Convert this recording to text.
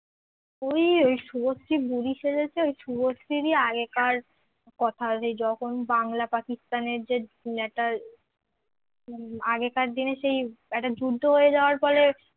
ওই ওই শুভশ্রী বুড়ি সেজেছে ওই শুভশ্রী ই আগেকার কথা সে যখন বাংলা পাকিস্তানের যে একটা হম আগেকার দিনের সেই একটা যুদ্ধ হয়ে যাওয়ার পরে